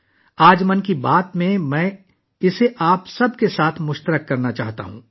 آج 'من کی بات' میں، میں یہ آپ سب کے ساتھ شیئر کرنا چاہتا ہوں